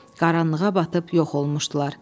Qaranlığa batıb yox olmuşdular.